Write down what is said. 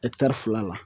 fila la